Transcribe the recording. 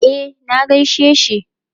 E, na gaishe shi.